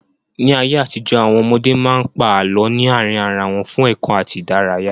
Ní ayé àtijó, Àwọn ọmọdé máa ń pa àlọ́ ní àárín ara wọn fún ẹ̀kọ́ àti ìdárayá.